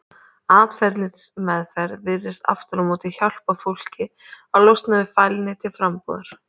Atferlismeðferð virðist aftur á móti hjálpa fólki að losna við fælni til frambúðar.